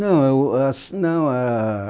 Não eu a s... Não ah...